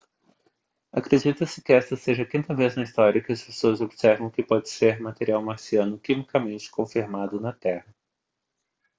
acredita-se que esta seja a quinta vez na história que as pessoas observam o que pode ser material marciano quimicamente confirmado na terra